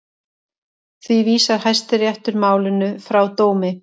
Því vísar Hæstiréttur málinu frá dómi